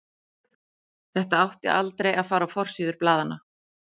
Þetta átti aldrei að fara á forsíður blaðanna.